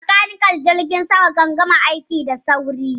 Bakaniken Jirgin sama kan gama aiki da sauri.